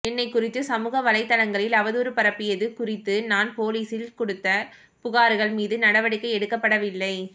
என்னைக் குறித்து சமூக வலைதளங்களில் அவதூறு பரப்பியது குறித்து நான் போலீஸில் கொடுத்த புகார்கள் மீது நடவடிக்கை எடுக்கப்படவில்லை